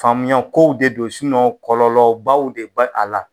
Faamuya kow de don, kɔlɔlɔbaw de b'a a la